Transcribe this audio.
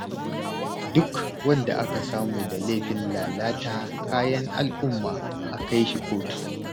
Duk wanda aka samu da laifin lalata kayan al'umma a kai shi kotu.